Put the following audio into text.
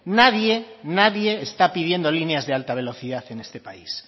nadie nadie está pidiendo líneas de alta velocidad en este país